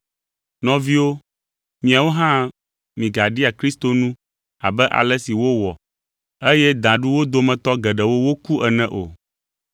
Nɔviwo, miawo hã migaɖia Kristo nu abe ale si wowɔ eye da ɖu wo dometɔ geɖewo woku ene o.